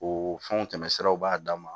O fɛnw tɛmɛsiraw b'a dan ma